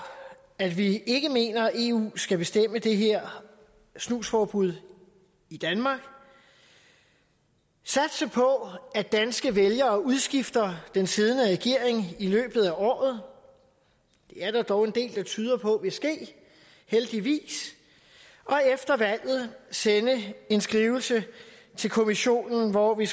at vi ikke mener at eu skal bestemme og indføre det her snusforbud i danmark satse på at danske vælgere udskifter den siddende regering i løbet af året det er der dog en del der tyder på vil ske heldigvis og efter valget sende en skrivelse til kommissionen hvori